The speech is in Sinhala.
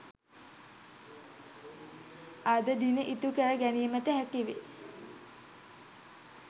අද දින ඉටු කර ගැනීමට හැකිවේ.